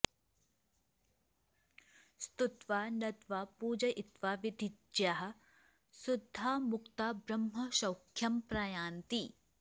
स्तुत्वा नत्वा पूजयित्वा विधिज्ञाः शुद्धा मुक्ता ब्रह्मसौख्यं प्रयान्ति